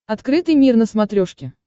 открытый мир на смотрешке